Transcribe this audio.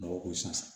Dɔw ko ko san